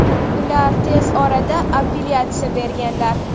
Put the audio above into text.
Ular tez orada apellyatsiya berganlar.